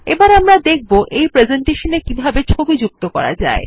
এখন আমরা দেখব এই প্রেসেন্টেশনে কিভাবে ছবি যুক্ত করা যায়